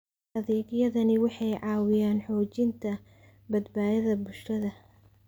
Adeegyadani waxay caawiyaan xoojinta badbaadada bulshada.